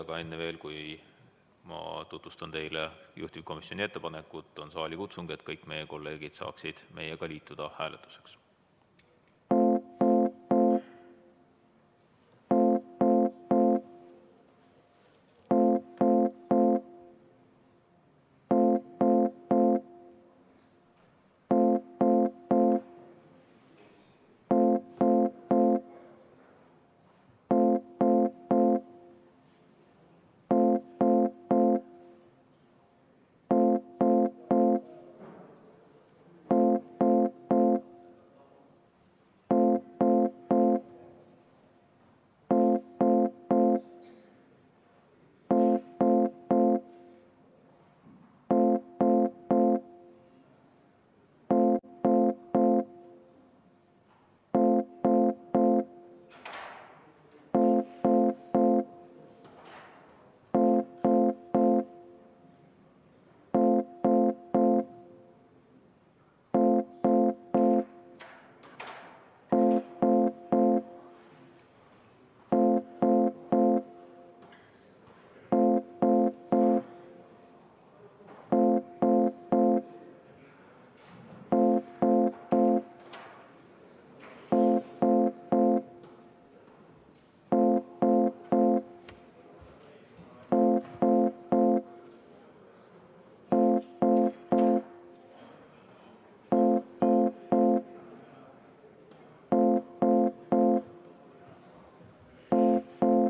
Aga enne veel, kui ma tutvustan teile juhtivkomisjoni ettepanekut, on saalikutsung, et kõik meie kolleegid saaksid meiega hääletuseks liituda.